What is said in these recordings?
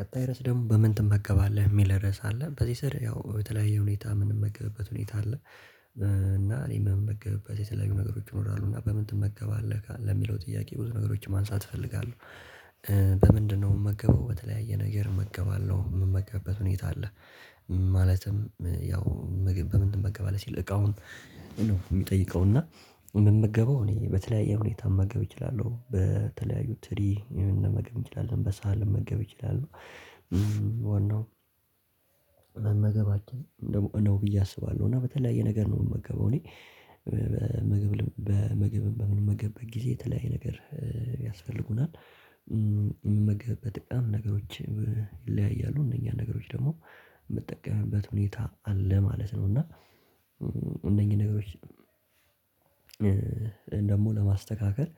ቀጣይ ርዕስ ደግሞ በምን ትመገባለህ የሚል ርዕስ አለ በዚህ ስር ያው በተለያየ ሁኔታ የምንመግበት ሁኔታ አለ። እና እኔ የምመግበበት የተለያዩ ነገሮች ይኖራሉ እና በምን ትመገባለህ ለሚለው ጥያቄ ብዙ ነገሮችን ማንሳት እፈልጋለሁ። በምንድነው የምመገበው በተለያየ ነገር እመገባለሁ የምመገብበት ሁኔታ አለ። ማለትም ያው ምግብ በምን ትመገባለህ ሲል እቃውን ነው የሚጠይቀውና ምመገበው እኔ በተለያየ ሁኔታ መመገብ እችላለሁ በተለያዩ ትሪ መመገብ እንችላለን በሳህን ልመገብ እችላለሁ። ዋናው መመገባችን ነው ብዬ አስባለሁ። እና በተለያየ ነገር ነው የምመገበው እኔ ምግብ በምግብ በምንመገብበት ጊዜ የተለያየ ነገር ያስፈልጉናል። የምመገብበትም እቃም ነገሮች ይለያያሉ እነኛ ነገሮች ደግሞ የምጠቀምበት ሁኔታ አለ ማለት ነው። እና እነኚህ ነገሮች ደግሞ ለማስተካከል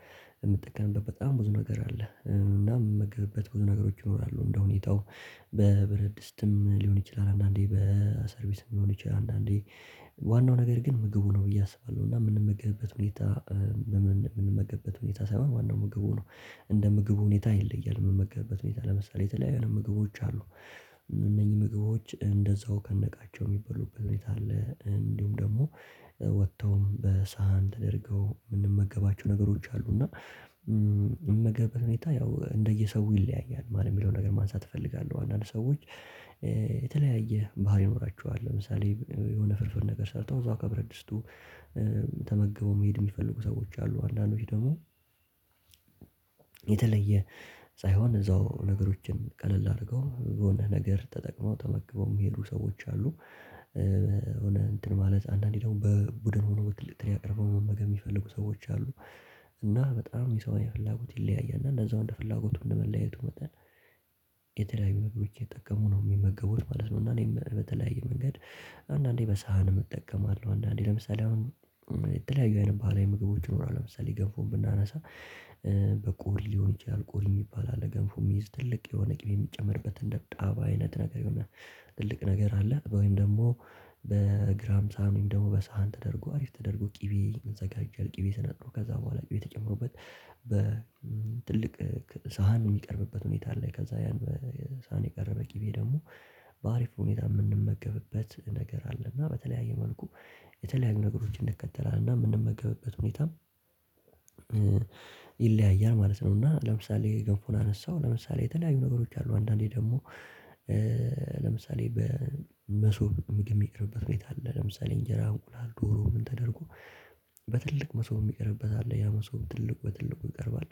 የምትጠቀምበት በጣም ብዙ ነገር አለ። እናም የምመገብበት ብዙ ነገሮች ይኖራሉ እንደሁኔታው በብረድስትም ሊሆን ይችላል አንዳንዴ በሰርቪስም ሊሆን ይችላል። አንዳንዴ ዋናው ነገር ግን ምግቡ ነው ብዬ አስባለሁ። እና የምንመገብበት ሁኔታ የምንመገብበት ሁኔታ ሳይሆን ዋናው ምግቡ ነው። እንደ ምግቡ ሁኔታ ይለያል የምመገብበት ሁኔታ ለምሳሌ የተለያዩ ምግቦች አሉ። እነኚህ ምግቦች እንደዛው ከነእቃቸው የሚበሉበት ሁኔታ አለ እንዲሁም ደግሞ ወጥተውም በሳህን ተደርገው የምንመገባቸው ነገሮች አሉ እና የመመገብ ሁኔታ ያው እንደየሰው ይለያያል። ማን የሚለውን ነገር ማንሳት እፈልጋለሁ አንዳንድ ሰዎች የተለያየ ባህሪ ይኖራችኋል ለምሳሌ የሆነ ፍርፍር ነገር ሰርተው እዛው ከብረትድስቱ ተመገቡ መሄድ የሚፈልጉ ሰዎች አሉ። አንዳንዶች ደግሞ የተለየ ሳይሆን እዛው ነገሮችን ቀለል አድርገው የሆነ ነገር ተጠቅመው ተመግበው የሚሄዱ ሰዎች አሉ። የሆነ እንትን ማለት አንዳንዴ ደግሞ በቡድን ሆነው በትልቅ ትሪ አቅርበው መመገብ የሚፈልጉ ሰዎች አሉ። እና በጣም የሰው የፍላጎት ይለያያል እንደዛው እንደ ፍላጎቱ እንደ መለያየቱ መጠን የተለያዩ መንገዶችን እየተጠቀሙ ነው የሚመገቡት ማለት ነው። እና እኔም በተለያየ መንገድ አንዳንዴ በሳህን እጠቀማለሁ። አንዳንዴ ለምሳሌ አሁን የተለያዩ አይነት ባህላዊ ምግቦች ይኖራል ለምሳሌ ገንፎን ብናነሳ በቆሪ ሊሆን ይችላል። ቆሪ የሚባል አለ ገንፎ የሚይዝ ትልቅ የሆነ ቅቤ የሚጨመርበት እንደ ጣባ አይነት ነገር ይሆናል ትልቅ ነገር አለ ወይም ደግሞ በግራም ሳህን ወይም ደግሞ በሳህን ተደርጎ አሪፍ ተደርጎ ቅቤ ይዘጋጀል ቅቤ ስነጥሮ ከዛ በኋላ ቅቤ ተጨምሮበት በትልቅ ሳህን የሚቀርብበት ሁኔታ አለ። ከዛ ያን በሳህን የቀረበ ቅቤ ደግሞ በአሪፍ ሁኔታ የምንመገብበት ነገር አለ። እና በተለያየ መልኩ የተለያዩ ነገሮችን እንከተላለን እና የምንመገበበት ሁኔታም ይለያያል ማለት ነው። እና ለምሳሌ ገንፎን አነሳው ለምሳሌ የተለያዩ ነገሮች አሉ አንዳንዴ ደግሞ ለምሳሌ በመሶብ ምግብ የሚቀርብበት ሁኔታ አለ ለምሳሌ እንጀራ እንቁላል ዶሮ ምን ተደርጎ በትልቅ መሶብ የሚቀርብበት አለ። ያ መሶብ ትልቅ በትልቁ ይቀርባል።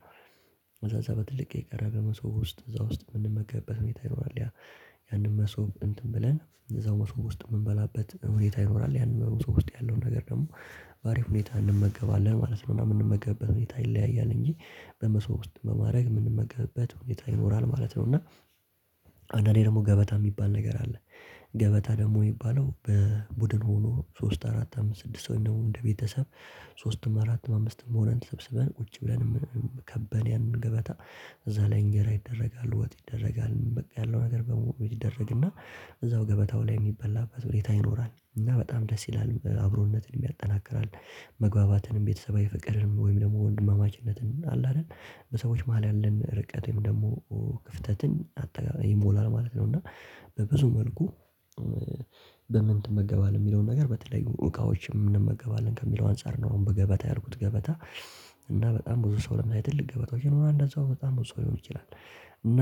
እዛ እዛ በትልቅ የቀረበ መሶብ ውስጥ እዛ ውስጥ የምንመገብበት ሁኔታ ይኖራል ያንን መሶብ እንትን ብለን እዛው መሶብ ውስጥ የምንበላበት ሁኔታ ይኖራል ያንን በመሶቡ ውስጥ ያለውን ነገር ደግሞ ባሪፍ ሁኔታ እንመገባለን ማለት ነው። እና የምንመገብበት ሁኔታ ይለያያል እንጂ በመሶብ ውስጥ ውስጥ በማድረግ የምንመገብበት ሁኔታ ይኖራል ማለት ነው። እና አንዳንዴ ደግሞ ገበታ የሚባል ነገር አለ። ገበታ ደግሞ የሚባለው በቡድን ሆኖ ሶስት አራት አምስት ስድስት ሰው ደግሞ እንደ ቤተሰብ ሶስትም አራትም አምስትም ሆነን ተሰብስበን ቁጭ ብለን ከበን ያንን ገበታ እዛ ላይ እንጀራ ይደረጋል ወጥ ይደረጋል በቃ ያለው ነገር በሙሉ ይደረግና እዛው ገበታው ላይ የሚበላበት ሁኔታ ይኖራል። እና በጣም ደስ ይላል አብሮነትንም ያጠናክራል መግባባትንም ቤተሰባዊ ፍቅርንም ወይም ደግሞ ወንድማማችነትን አለ አይደል በሰዎች መሃል ያለን ርቀትም ደግሞ ክፍተትን አጠጋ ይሞላል ማለት ነው። እና በብዙ መልኩ በምን ትመገባለህ የሚለውን ነገር በተለያዩ እቃዎችን እንመገባለን ከሚለው አንፃር ነው። አሁን በገበታ ያልኩት ገበታ እና በጣም ብዙ ሰው ለምሳሌ ትልቅ ገበታዎች ነው እና እንደዛው በጣም ብዙ ሰው ሊሆን ይችላል። እና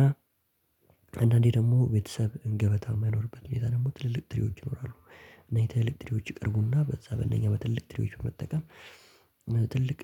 አንዳንዴ ደግሞ ቤተሰብ እንገበታ የማይኖርበት ሁኔታ ደግሞ ትልልቅ ጥሪዎች ይኖራሉ። እነኚ ትልቅ ትሪዎች ይቀርቡና በዛ በእነኛ በትልልቅ ትሪዎች መጠቀም ትልቅ